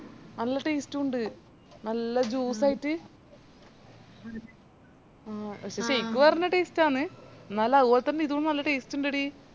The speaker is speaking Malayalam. നല്ല taste ഉ ഇണ്ട് നല്ല juice ആയിറ്റ് ആ പക്ഷെ shake വെറന്നെ taste ആന്ന് എന്നാലും അത് പോലെതന്നെ ഇതും നല്ല taste ഇന്ഡെടി